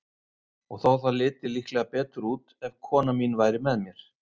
Og þó það liti líklega betur út, ef kona mín væri með mér.